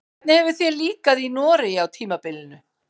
Hvernig hefur þér líkað í Noregi á tímabilinu?